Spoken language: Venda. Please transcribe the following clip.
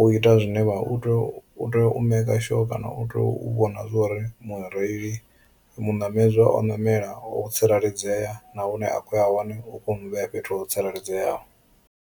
u ita zwine vha u tea u tea u maker sure kana u tea u vhona zwori mureili muṋamedza o namela o tsireledzea na hune a kho ya hone u kho mu vhea fhethu ho tsireledzeaho.